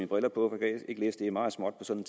briller på det er meget småt på sådan